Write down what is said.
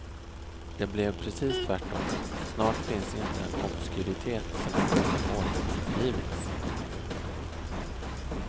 Det blev precis tvärtom, snart finns inte en obskyritet som inte har återutgivits.